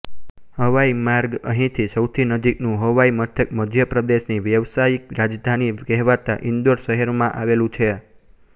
હવાઈ માર્ગ અહીથી સૌથી નજીકનું હવાઈ મથક મધ્યપ્રદેશની વ્યાવસાયિક રાજધાની કહેવાતા ઇન્દૌર શહેરમાં આવેલું છે